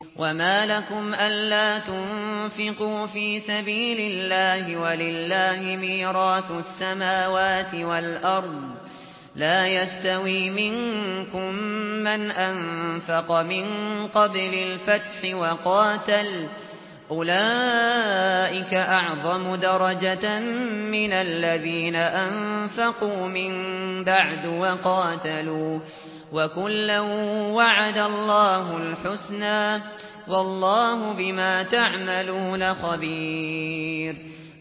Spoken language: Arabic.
وَمَا لَكُمْ أَلَّا تُنفِقُوا فِي سَبِيلِ اللَّهِ وَلِلَّهِ مِيرَاثُ السَّمَاوَاتِ وَالْأَرْضِ ۚ لَا يَسْتَوِي مِنكُم مَّنْ أَنفَقَ مِن قَبْلِ الْفَتْحِ وَقَاتَلَ ۚ أُولَٰئِكَ أَعْظَمُ دَرَجَةً مِّنَ الَّذِينَ أَنفَقُوا مِن بَعْدُ وَقَاتَلُوا ۚ وَكُلًّا وَعَدَ اللَّهُ الْحُسْنَىٰ ۚ وَاللَّهُ بِمَا تَعْمَلُونَ خَبِيرٌ